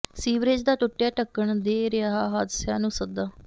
sewerage ਦਾ ਟੁੱਟਿਆ ਢੱਕਣ ਦੇ ਰਿਹਾ ਹਾਦਸਿਆਂ ਨੂੰ ਸੱਦਾ